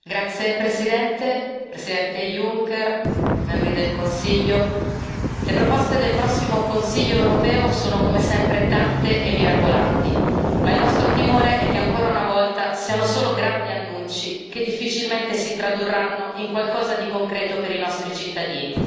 Signor Presidente, onorevoli colleghi, Presidente Juncker, membri del Consiglio, le proposte del prossimo Consiglio europeo sono come sempre tante e mirabolanti, ma il nostro timore è che ancora una volta siano solo grandi annunci che difficilmente si tradurranno in qualcosa di concreto per i nostri cittadini.